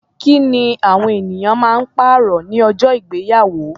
Kí ni awọn eniyan ma ń pàrọ̀ ní ọjọ́ ìgbéyàwó?